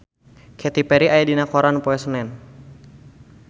Katy Perry aya dina koran poe Senen